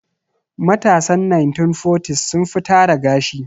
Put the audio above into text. Matasan 1940s sun fi tara gashi.